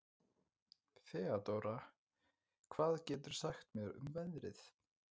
Þeódóra, hvað geturðu sagt mér um veðrið?